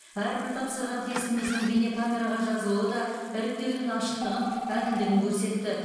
әрбір тапсырған тестіміздің бейнекамераға жазылуы да іріктеудің ашықтығын әділдігін көрсетті